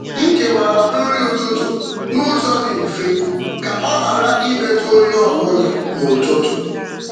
M kewara nri ụtụtụ n’ụzọ dị mfe ka ọ ghara imetụ onye ọ bụla n’ụtụtụ.